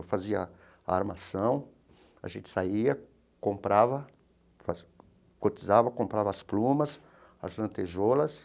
Eu fazia a armação, a gente saía, comprava, faz cotizava, comprava as plumas, as lantejoulas.